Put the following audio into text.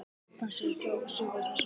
Dans ekki ósvipaðan þessum.